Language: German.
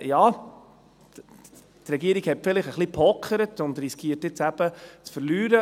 Die Regierung hat vielleicht ein wenig gepokert und riskiert nun eben zu verlieren.